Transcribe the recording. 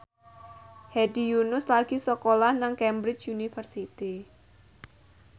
Hedi Yunus lagi sekolah nang Cambridge University